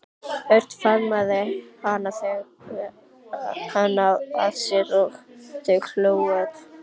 Örn faðmaði hana að sér og þau hlógu öll.